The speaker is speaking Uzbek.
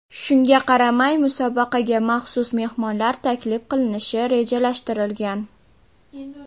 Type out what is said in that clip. Shunga qaramay, musobaqaga maxsus mehmonlar taklif qilinishi rejalashtirilgan.